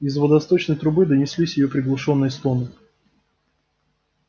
из водосточной трубы донеслись её приглушённые стоны